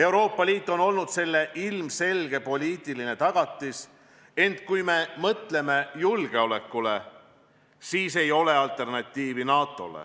Euroopa Liit on olnud selle ilmselge poliitiline tagatis, ent kui me mõtleme julgeolekule, siis ei ole NATO-le alternatiivi.